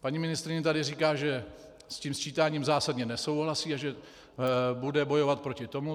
Paní ministryně tady říká, že s tím sčítáním zásadně nesouhlasí a že bude bojovat proti tomu.